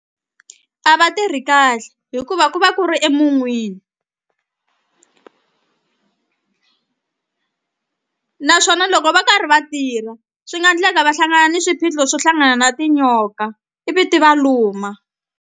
A va tirhi kahle hikuva ku va ku ri emun'wini naswona loko va karhi va tirha swi nga endleka va hlangana ni swiphiqo swo hlangana na tinyoka ivi ti va luma.